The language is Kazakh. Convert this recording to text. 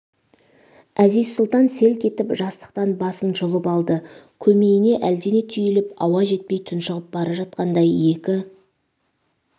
әзиз-сұлтан селк етіп жастықтан басын жұлып алды көмейіне әлдене түйіліп ауа жетпей тұншығып бара жатқандай екі